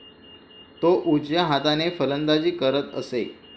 तो उजव्या हाताने फलंदाजी करत असे.